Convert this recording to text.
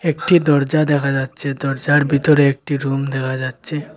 একটি দরজা দেখা যাচ্ছে দরজার বিতরে একটি রুম দেখা যাচ্ছে।